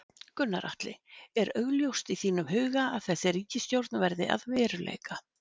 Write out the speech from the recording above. Gunnar Atli: Er augljóst í þínum huga að þessi ríkisstjórn verði að veruleika?